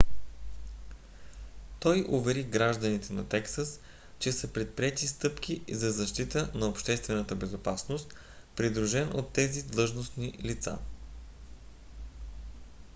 той увери гражданите на тексас че са предприети стъпки за защита на обществената безопасност придружен от тези длъжностни лица